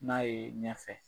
N'a ye ɲɛfɛ